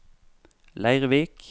Leirvik